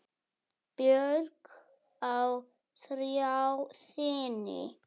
Björk á þrjá syni.